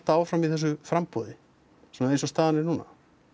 áfram í þessu framboði svona eins og staðan er núna